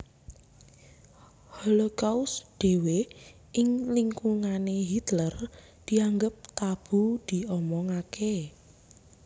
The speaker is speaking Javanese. Holocaust dhéwé ing lingkungané Hitler dianggep tabu diomongaké